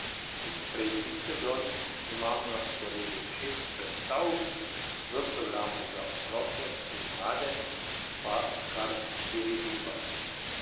Iz prejšnjih sezon imamo na sporedu šest predstav, v programu za otroke in mlade pa kar štiriindvajset.